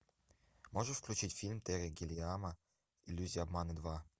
можешь включить фильм терри гиллиама иллюзия обмана два